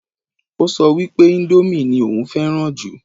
Ó sọ wípé índómì ní òun fẹ́ràn jù